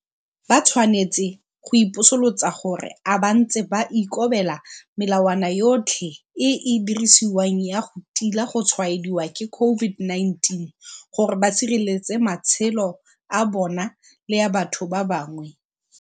Ba tshwanetse go ipotsolotsa gore a bantse ba ikobela melawana yotlhe e e dirisiwang ya go tila go tshwaediwa ke COVID-19 gore ba sireletse matshelo a bona le a batho ba bangwe?